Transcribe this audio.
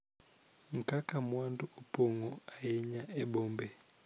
Kaka mwandu opong�o ahinya e bombe.